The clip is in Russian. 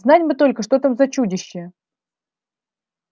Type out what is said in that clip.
знать бы только что там за чудище